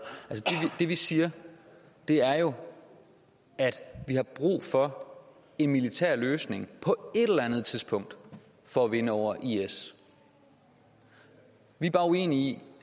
det vi siger er jo at vi har brug for en militær løsning på et eller andet tidspunkt for at vinde over is vi er bare uenige i